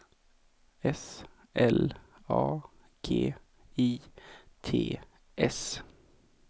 S L A G I T S